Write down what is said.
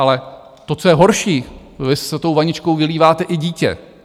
Ale to, co je horší, vy s tou vaničkou vylíváte i dítě.